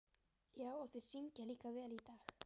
Já, og þeir syngja líka vel í dag.